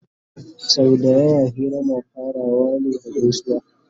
sau da yawa Hira na farawa ne da gaisuwa